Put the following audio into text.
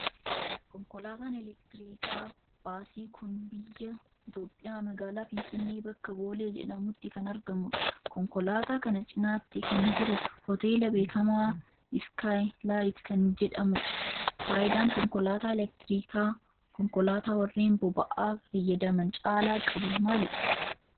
Konkolaataan elektirikaa baasii kun biyyaa Itoophiyaa magaalaa Finfinnee bakka Boolee jedhamutti kan argamudha. konkolaataa kana cinaatti kan jiru hooteela beekkamaa Iskaay Laayit kan jedhamudha. Faayidaan konkolaataa elektirikaa konkolaataa warreen boba'aa fayyadamaan caala qabu maalidha?